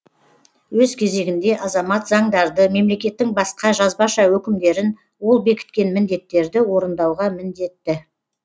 өз кезегінде азамат заңдарды мемлекеттің басқа жазбаша өкімдерін ол бекіткен міндеттерді орындауға міндетті